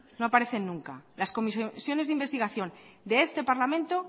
no aparecen nunca las comisiones de investigación de este parlamento